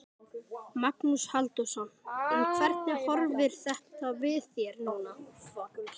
Magnús Halldórsson: En hvernig horfir þetta við þér núna?